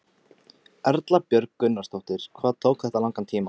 Erla Björg Gunnarsdóttir: Hvað tók þetta langan tíma?